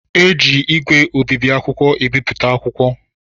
Eji ígwè obibi akwụkwọ ebipụta akwụkwọ